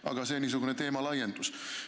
Aga see oli niisugune teemalaiendus.